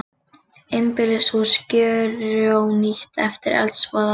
Einbýlishús gjörónýtt eftir eldsvoða